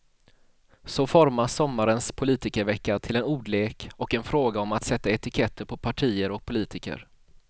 Så formas sommarens politikervecka till en ordlek och en fråga om att sätta etiketter på partier och politiker.